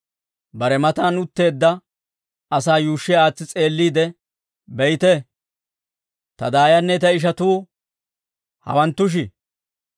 Bare matan utteedda asaa yuushshi aatsi s'eelliide, «Be'ite; ta daayanne ta ishatuu hawanttushi.